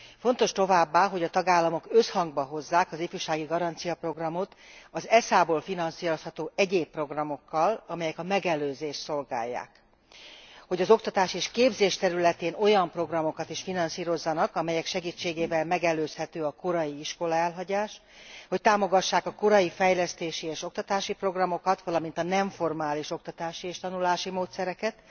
Fontos továbbá, hogy a tagállamok összhangba hozzák az ifjúsági garanciát az ESZA ból finanszírozható egyéb programokkal, amelyek a megelőzést szolgálják, hogy az oktatás és képzés területén olyan programokat is finanszírozzanak, amelyek segítségével megelőzhető a korai iskolaelhagyás, hogy támogassák a korai fejlesztési és oktatási programokat, valamint a nem formális oktatási és tanulási módszereket,